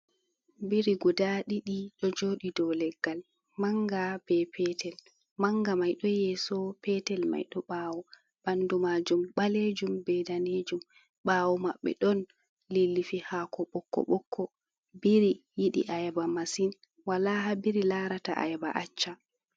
Biri guda ɗiɗi ɗojoɗi dow leggal, manga be petel. Manga mai ɗo yeso petel mai ɗo ɓawo, ɓandumajum ɓalejum be danejum, ɓawo maɓɓe ɗon lilifi haako ɓokko-ɓokko. Biri yiɗi ayaba masin, wola haa biri larata ayaba acca.